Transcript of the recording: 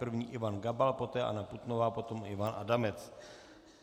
První Ivan Gabal, poté Anna Putnová, potom Ivan Adamec.